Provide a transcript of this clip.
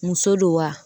Muso don wa